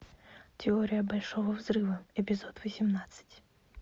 теория большого взрыва эпизод восемнадцать